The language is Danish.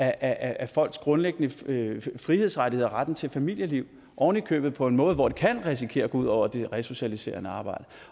af folks grundlæggende frihedsrettigheder og retten til familieliv ovenikøbet på en måde hvor det kan risikere at gå ud over det resocialiserende arbejde